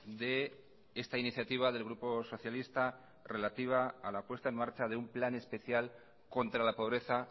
de esta iniciativa del grupo socialista relativa a la puesta en marcha de un plan especial contra la pobreza